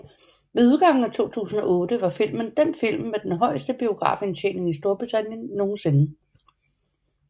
Ved udgangen af 2008 var filmen den film med den højeste biografindtjening i Storbritannien nogensinde